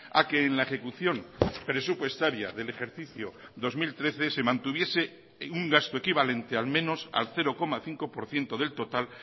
a que en la ejecución presupuestaria del ejercicio dos mil trece se mantuviese un gasto equivalente al menos al cero coma cinco por ciento del total